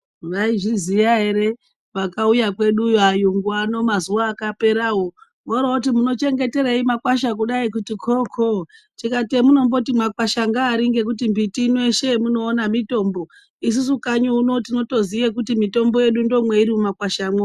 Vaizivziva ere kuti akauya unono mazuwa akapera voroti mumochengeterei makwasha kudai kuti koko tokati hamunoti makwasha ndeari ngekuti mbiti yeshe yamunoona mitombo isusu kanyi kwedu ndokwaninoina kuti mitombo.